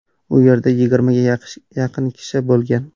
U yerda yigirmaga yaqin kishi bo‘lgan.